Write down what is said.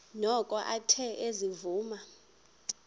noko athe ezivuma